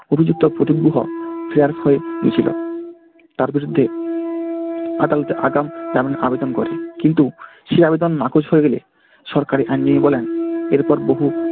অভিযুক্ত প্রদীপ গুহ ফেরার হয়ে গেছিলো। তার বিরুদ্ধে আদালতে আগাম জামিন আবেদন করেন, কিন্তু সেই আবেদন নাকচ হয়ে গেলে সরকারি আইনজীবী বলেন এর পর বহু